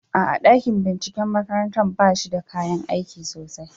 A'a, dakin binciken makarantar ba shi da kayan aiki sosai.